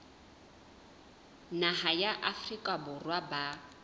naha ya afrika borwa ba